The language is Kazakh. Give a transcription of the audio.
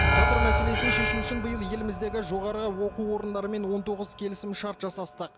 кадр мәселесін шешу үшін биыл еліміздегі жоғары оқу орындарымен он тоғыз келісімшарт жасастық